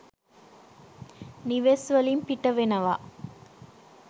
නිවෙස් වලින් පිට වෙනවා.